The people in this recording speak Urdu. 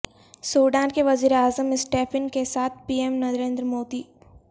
سوڈان کے وزیر اعظم اسٹیفن کے ساتھ پی ایم نریندر مودی